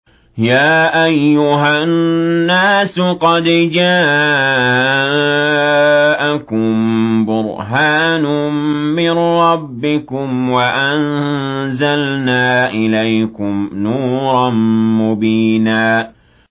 يَا أَيُّهَا النَّاسُ قَدْ جَاءَكُم بُرْهَانٌ مِّن رَّبِّكُمْ وَأَنزَلْنَا إِلَيْكُمْ نُورًا مُّبِينًا